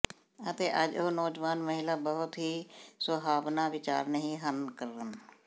ਅਤੇ ਅੱਜ ਉਹ ਨੌਜਵਾਨ ਮਹਿਲਾ ਬਹੁਤ ਹੀ ਸੁਹਾਵਣਾ ਵਿਚਾਰ ਨਹੀ ਹਨ ਕਰਨ